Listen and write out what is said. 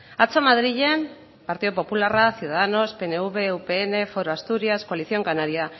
atzo madrilen partidu popularrak ciudadanos pnv upn foro asturias coalición canaria